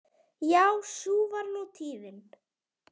Já sú var nú tíðin.